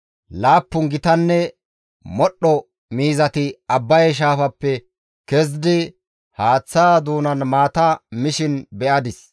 Laappun gitanne modhdho miizati Abbaye shaafappe kezidi haaththaa doonan maata mishin.